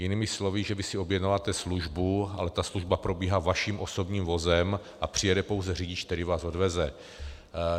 Jinými slovy, že vy si objednáváte službu, ale ta služba probíhá vaším osobním vozem a přijede pouze řidič, který vás odveze.